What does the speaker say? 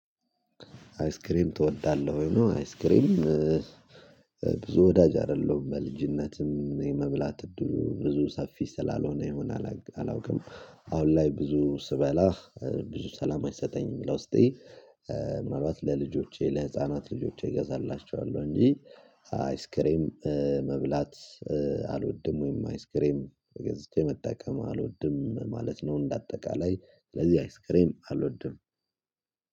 አይስክሬም ተወዳለህ ወይ ነው? አይስክሬም ብዙ ወዳጅ አይደለሁም በልጅነትም የመብላት እድሉ ብዙ ሰፊ ስላልሆነ ይሆናል አላውቅም። አሁን ላይ ብዙ ስበላ ብዙ ሰላም አይሰጠኝም። ለዉስጤ ምናልባት ለልጆቼ ለህፃናት ለልጆቼ እገዛላችኋለሁ እንጂ አይስክሬም መብላት አልወድም። ወይም አይስክሬም ገዝቼ መጠቀም አልወድም ማለት ነው። እንደ አጠቃላይ ለዚህ አይስክሬም አልወድም።